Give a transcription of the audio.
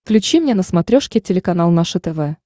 включи мне на смотрешке телеканал наше тв